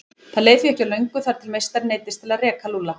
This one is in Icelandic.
Það leið því ekki á löngu þar til meistarinn neyddist til að reka Lúlla.